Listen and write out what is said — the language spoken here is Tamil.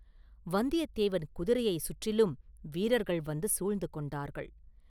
வந்தியத்தேவன் குதிரையைச் சுற்றிலும் வீரர்கள் வந்து சூழ்ந்து கொண்டார்கள்.